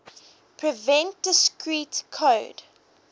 prevent discrete code